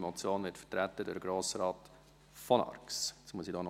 Die Motion wird durch Grossrat von Arx vertreten.